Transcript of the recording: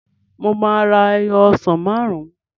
Mo máa ra ẹyọ ọsàn máàrún